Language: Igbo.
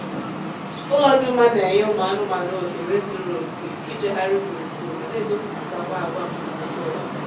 ụlọ dị mma na-enye ụmụ anụmaanụ ohere zuru oké ijegharị gburugburu ma na-egosipụtakwa agwa mbumputaụwa